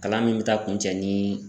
Kalan min bɛ taa kuncɛ nii